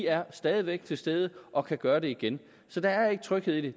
er stadig væk til stede og kan gøre det igen så der er ikke tryghed i det